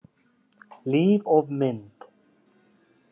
Líf og mynd